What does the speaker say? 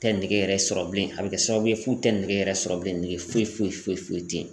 Tɛ nege yɛrɛ sɔrɔ bilen a bɛ kɛ sababu ye f'u tɛ nɛgɛ yɛrɛ sɔrɔ bilen nɛgɛ foyi foyi foyi tɛ yen.